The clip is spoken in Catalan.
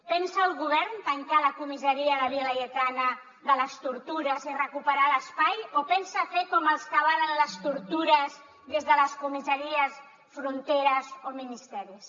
pensa el govern tancar la comissaria de la via laietana de les tortures i recuperar l’espai o pensa fer com els que avalen les tortures des de les comissaries fronteres o ministeris